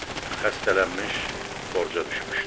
Xəstələnmiş, borca düşmüşdü.